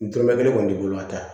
N dɔrɔmɛ kelen kɔni t'i bolo ka taa